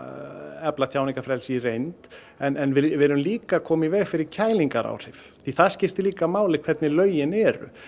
efla tjáningarfrelsið í reynd en við erum líka að koma í veg fyrir kælingaráhrif það skiptir líka máli hvernig lögin eru